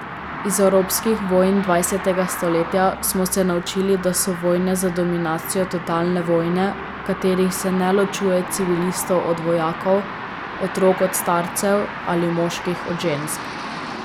Iz evropskih vojn dvajsetega stoletja smo se naučili, da so vojne za dominacijo totalne vojne, v katerih se ne ločuje civilistov od vojakov, otrok od starcev ali moških od žensk.